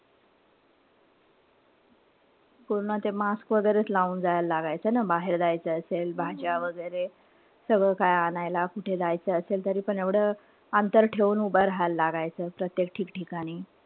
पूर्ण ते mask वगैरेच लं जायला लागायचं ना. बाहेर जायचं असेल. भाज्या वगैरे. सगळं काय आणायला. कुठे जायचं असेल तरीपण एवढं अंतर ठेऊन उभं राहायल लागायचं. प्रत्येक ठिकठिकाणी.